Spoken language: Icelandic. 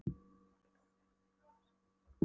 Áslaugu og var eiginlega orðin sátt við allt og alla.